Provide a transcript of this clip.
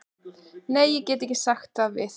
Nei, ég get ekki sagt við.